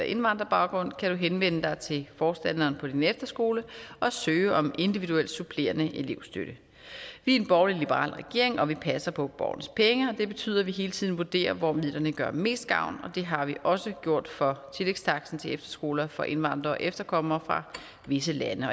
indvandrerbaggrund kan du henvende dig til forstanderen på din efterskole og søge om individuel supplerende elevstøtte vi er en borgerlig liberal regering og vi passer på borgernes penge det betyder at vi hele tiden vurderer hvor midlerne gør mest gavn og det har vi også gjort for tillægstaksten til efterskoler for indvandrere og efterkommere fra visse lande